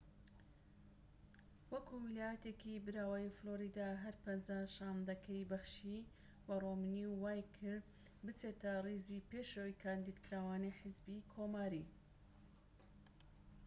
وەکو ویلایەتێكی براوە فلۆریدا هەر پەنجا شاندەکەی بەخشی بە ڕۆمنی و وای کرد بچێتە ڕیزی پێشەوەی کاندیدکراوانی حیزبی کۆماری